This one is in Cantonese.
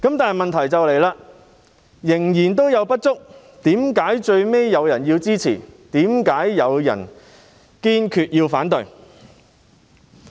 但問題是，雖然仍有不足，為何最後有議員會支持，有議員會堅決反對？